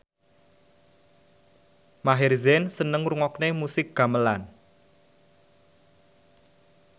Maher Zein seneng ngrungokne musik gamelan